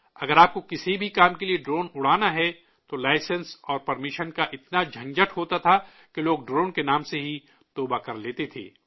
اگر آپ کو کسی بھی کام کے لیے ڈرون اڑانا ہے تو لائسنس اور پرمیشن کا اتنا جھنجٹ ہوتا تھا کہ لوگ ڈرون کے نام سے ہی توبہ کر لیتے تھے